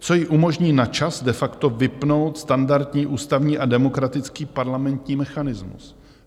Co jí umožní na čas de facto vypnout standardní ústavní a demokratický parlamentní mechanismus.